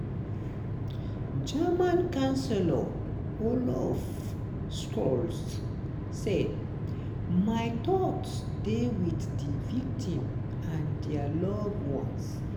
german chancellor olaf scholz say: "my thoughts dey wit di victims and dia loved ones.